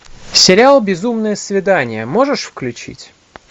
сериал безумное свидание можешь включить